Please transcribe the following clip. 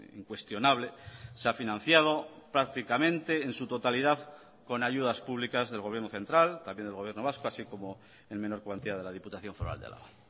incuestionable se ha financiado prácticamente en su totalidad con ayudas públicas del gobierno central también del gobierno vasco así como en menor cuantía de la diputación foral de álava